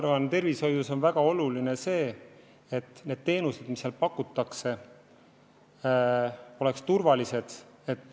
Ma arvan, et tervishoius on väga oluline see, et teenused, mida seal pakutakse, oleks turvalised.